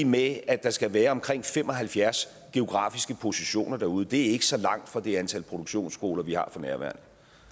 med at der skal være omkring fem og halvfjerds geografiske positioner derude det er ikke så langt fra det antal produktionsskoler vi har for nærværende